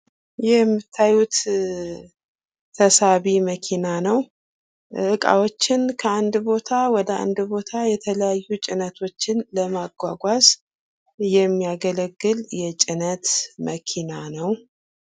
ይህ የምታዩት ተሳቢ መኪና ነው። ዕቃዎችን ከአንድ ቦታ ወደ አንድ ቦታ የተለያዩ ጭነቶችን ለማጓጓዝ የሚያገለግል የጭነት መኪና ነው።